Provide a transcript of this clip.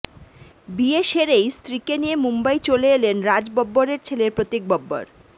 বিয়ে সেরেই স্ত্রীকে নিয়ে মুম্বই চলে এলেন রাজ বব্বরের ছেলে প্রতীক বব্বর